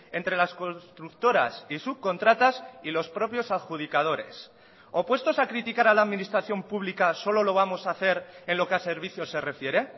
entre las constructoras y subcontratas y los propios adjudicadores o puestos a criticar a la administración pública solo lo vamos a hacer en lo que ha servicios se refiere